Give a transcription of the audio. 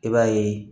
I b'a ye